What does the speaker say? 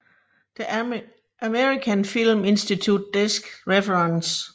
The American Film Institute Desk Reference